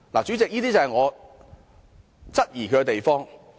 主席，這就是我質疑的地方。